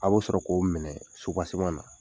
A bɛ sɔrɔ k'o minɛ subaseman na